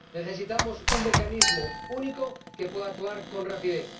Necesitamos un Mecanismo Único que pueda actuar con rapidez.